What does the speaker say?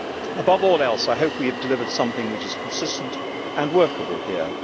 Above all else, I hope we have delivered something which is consistent and workable here.